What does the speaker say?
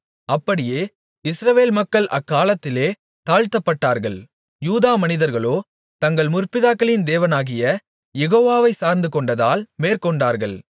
அப்படியே இஸ்ரவேல் மக்கள் அக்காலத்திலே தாழ்த்தப்பட்டார்கள் யூதா மனிதர்களோ தங்கள் முற்பிதாக்களின் தேவனாகிய யெகோவாவைச் சார்ந்துகொண்டதால் மேற்கொண்டார்கள்